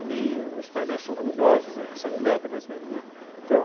Ali os painéis são luminosos, recebem lâmpadas mesmo, né. Então,